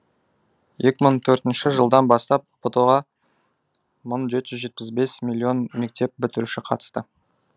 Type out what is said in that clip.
екі мың төртінші жылдан бастап ұбт ға мың жеті жүз жетпіс бес миллион мектеп бітіруші қатысты